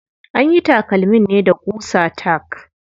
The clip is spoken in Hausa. Anyi takalmin ne da ƙusa tack.